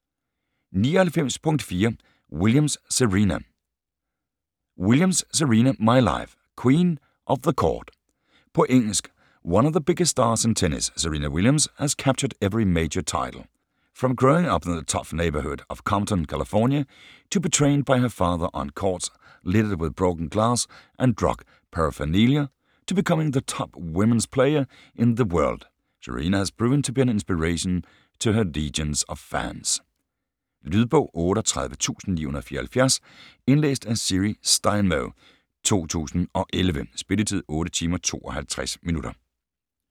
99.4 Williams, Serena Williams, Serena: My life: queen of the court På engelsk. One of the biggest stars in tennis, Serena Williams has captured every major title. From growing up in the tough neighborhood of Compton, California, to being trained by her father on courts littered with broken glass and drug paraphernalia, to becoming the top women's player in the world, Serena has proven to be an inspiration to her legions of fans. Lydbog 38974 Indlæst af Siri Steinmo, 2011. Spilletid: 8 timer, 52 minutter.